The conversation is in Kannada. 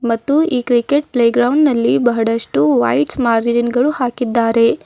ಮತ್ತು ಈ ಕ್ರಿಕೆಟ್ ಪ್ಲೇ ಗ್ರೌಂಡ್ ಅಲ್ಲಿ ಬಹಳಷ್ಟು ವೈಟ್ ಮಾರ್ಜಿನ್ ಗಳು ಹಾಕಿದ್ದಾರೆ.